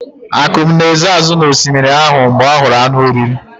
Akum na-ezo azụ azụ n'osimiri ahụ mgbe ọ hụrụ anụ oriri.